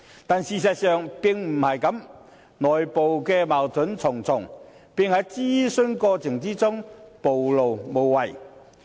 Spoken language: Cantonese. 但是，事實上並非如此，內部矛盾重重，並在諮詢過程中暴露無遺。